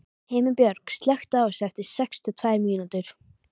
Himinbjörg, slökktu á þessu eftir sextíu og tvær mínútur.